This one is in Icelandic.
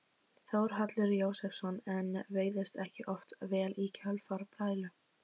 Þórhallur Jósefsson: En veiðist ekki oft vel í kjölfar brælu?